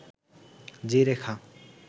যে রেখা